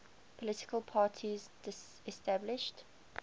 political parties disestablished